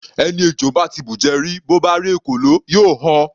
Ẹni ejò bá ti bùjẹ rí, bó bá rí ekòló, yóò họ.